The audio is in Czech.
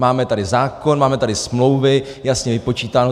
Máme tady zákon, máme tady smlouvy, jasně vypočítáno.